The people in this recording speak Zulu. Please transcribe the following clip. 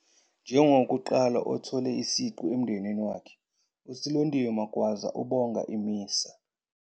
Njengowokuqala othole isiqu emndenini wakhe, uSilondiwe Magwaza ubonga i-MISA.